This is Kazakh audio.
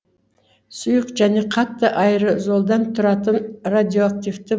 сұйық және қатты аэрозолдан тұратын радиоактивті